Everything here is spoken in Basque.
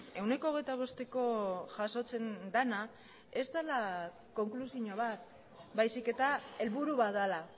ehuneko hogeita bosteko jasotzen dena ez dela konklusio bat baizik eta helburu bat dela